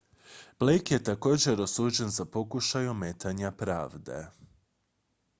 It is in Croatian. blake je također osuđen za pokušaj ometanja pravde